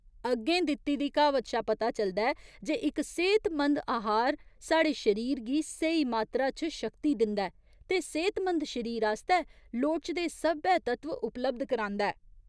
अग्गें दित्ती दी कहावत शा पता चलदा ऐ जे इक सेह्तमंद आहार साढ़े शरीर गी स्हेई मात्तरा च शक्ति दिंदा ऐ ते सेह्तमंद शरीर आस्तै लोड़चदे सब्भै तत्व उपलब्ध करांदा ऐ।